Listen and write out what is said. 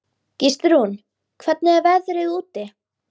Gíslrún, hvernig er veðrið úti?